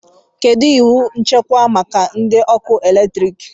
Kedu iwu nchekwa maka ndị ọkụ eletrik?